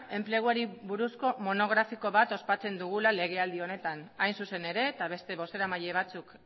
enpleguari buruzko monografiko ospatzen dugula legealdi honetan hain zuzen ere eta beste bozeramaile batzuk